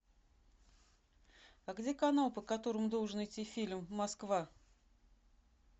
а где канал по которому должен идти фильм москва